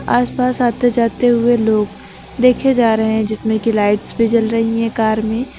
आसपास आते जाते हुए लोग देखे जा रहे हैं जिसमें की लाइट्स जल रही है कार में।